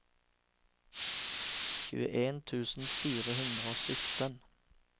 tjueen tusen fire hundre og sytten